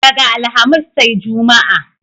Daga Alhamis sai Juma'a.